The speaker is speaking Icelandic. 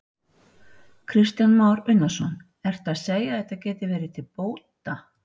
Kristján Már Unnarsson: Ertu að segja að þetta gæti verið til bóta?